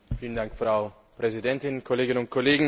Frau Präsidentin, Kolleginnen und Kollegen!